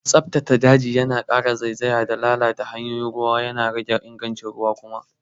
Tsabtace daji yana ƙara zaizaya da lalata hanyoyin ruwa kuma yana rage ingancin ruwan.